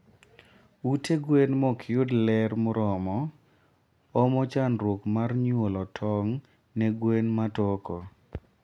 Ute gwen mokyud ler moromo omo chandruok mar nyuolo tong ne gwen matoko